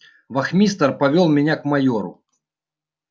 вахмистр повёл меня к майору